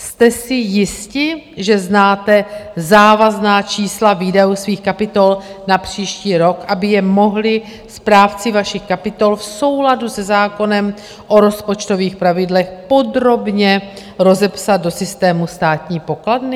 Jste si jisti, že znáte závazná čísla výdajů svých kapitol na příští rok, aby je mohli správci vašich kapitol v souladu se zákonem o rozpočtových pravidlech podrobně rozepsat do systému státní pokladny?